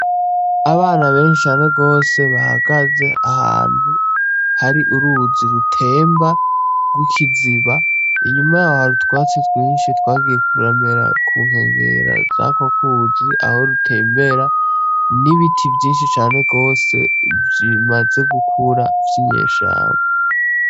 Abana benshi cane gose, bahagaze ahantu hari uruzi rutemba rw'ikiziba, inyuma y'aho hari utwatsi twinshi twagiye turamera ku nkengera z'urwo ruzi aho rutembera n'ibiti vyinshi cane gose bimaze gukura vy'inyeshamba.